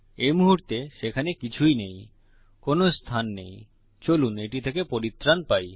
এই মুহুর্তে সেখানে কিছুই নেই কোনো স্থান নেই চলুন এটি থেকে পরিত্রান পাই